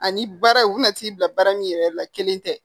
Ani baara u bɛna t'i bila baara min yɛrɛ la kelen tɛ